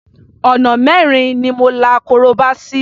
Ọ̀nà mẹ́rin ni mo la korobá sí.